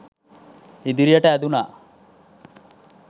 ඉදිරියට ඇදුනා.